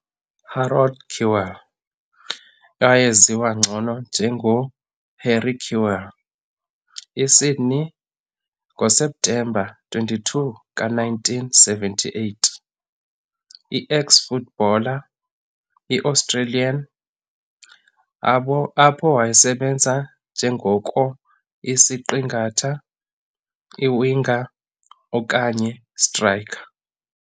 Harold Kewell, ngcono eyaziwa njenge Harry Kewell, i-sydney, ngoseptemba 22 ka - 1978, i-eks-footballer, i-australian abo apho wayesebenza njengoko isiqingatha, iwinger okanye striker.